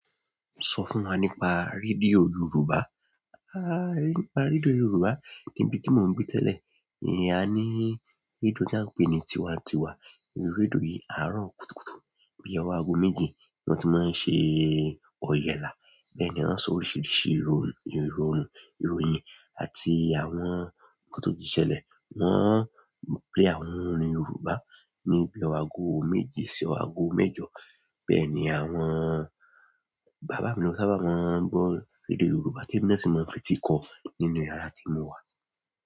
Sọ fún wa nípa rédíò Yoruba. Ha! Nípa rédíò Yoruba ibi tí mò ń gbe tẹ́lẹ̀. A ní rédíò tí a ń pè ní tiwa n tiwa. Rédíò yìí àárọ̀ kùtùkùtù bí i ọwọ́ aago méjì ni wọ́n ti máa ń ṣe òyẹlá. Bẹ́ẹ̀ ni wọ́n o sọ oríṣiríṣi ìròyìn àti àwọn nkan tó ti ṣẹlẹ̀. Wọ́n ń play àwọn orin Yorùbá ní bí ọwọ́ aago méje sí ọwọ́ aago mẹ́jọ. Bẹ́ẹ̀ ni àwọn bàbá mi lo n sábà máa ń gbọ́ rédíò Yorùbá temi na sì máa ń fetikọ̀ nínú yàrá tí mo wà.